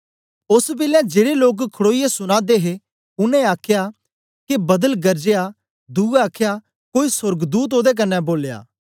ओस बेलै जेड़े लोक खडोईयै सुना दे हे उनै आखया के बदल गरजया दुए आखया कोई सोर्गदूत ओदे कन्ने बोलया